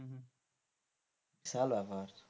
বিশাল ব্যাপার,